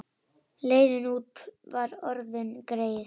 Leiðin út var orðin greið.